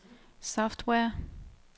software